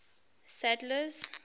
sadler's